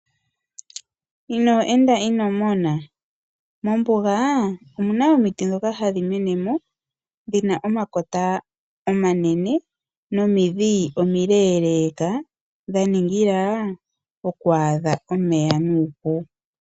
Inoo enda inomona, mombuga omuna omiti dhoka hadhimenemo dhina omakota omanene nomidhi omileeleka dhaningila oku adha omeya nuupu.